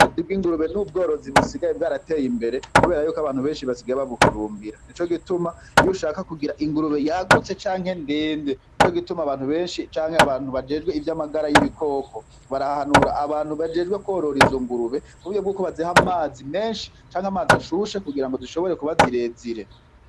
Ubworozi bw'ingurube n'ubworozi busigaye bw'arateye imbere, kubera yuko abantu benshi basigaye babuhurumbira nico gituma iyo ushaka kugira ingurube yagutse canke ndende nico gituma abantu benshi canke abantu bajejwe ivyo amagara y'ibikoko barahanura abantu bajejwe kworora izo ngurube kuba iyo baziha amazi menshi canke amazi ashushe kugira ngo zishobore kuba zirezire.